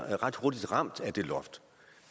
ramt af det loft